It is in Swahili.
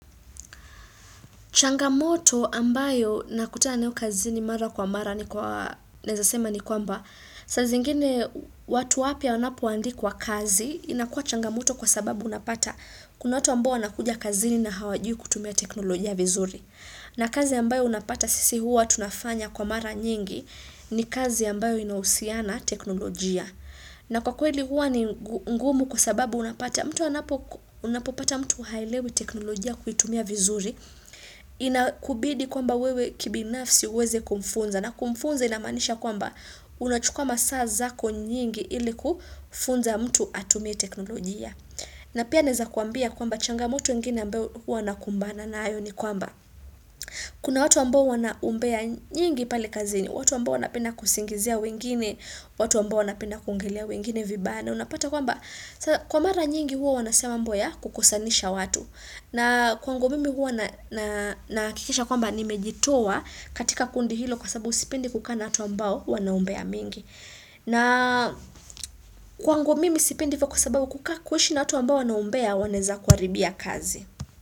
Changamoto ambayo nakutana nayo kazini mara kwa mara, naeza sema ni kwamba, saa zingine watu wapya wanapoandikwa kazi, inakuwa changamoto kwa sababu unapata, kuna watu ambao wanakuja kazini na hawajui kutumia teknolojia vizuri. Na kazi ambayo unapata sisi huwa tunafanya kwa mara nyingi ni kazi ambayo inahusiana teknolojia. Na kwa kweli huwa ni ngumu kwa sababu unapopata mtu haelewi teknolojia kuitumia vizuri. Inakubidi kwamba wewe kibinafsi uweze kumfunza. Na kumfunza inamaanisha kwamba unachukua masaa zako nyingi ili kufunza mtu atumie teknolojia. Na pia naeza kuambia kwamba changamoto ingine ambayo huwa nakumbana nayo ni kwamba kuna watu ambao wana umbea nyingi pale kazini, watu ambao wanapenda kusingizia wengine, watu ambao wanapenda kuongelea wengine vibaya, na unapata kwamba kwa mara nyingi huwa wanasema mambo ya kukosanisha watu. Na kwangu mimi huwa nahakikisha kwamba nimejitoa katika kundi hilo kwa sababu sipendi kukaa na watu ambao wana umbea mingi. Na kwangu mimi sipendi hivyo kwa sababu kuishi na watu ambao wana umbea wanaeza kuharibia kazi.